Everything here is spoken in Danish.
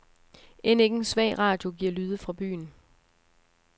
End ikke en svag radio giver lyde fra byen.